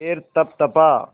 पैर तपतपा